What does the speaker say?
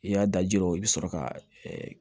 I y'a da jir'o la i bɛ sɔrɔ ka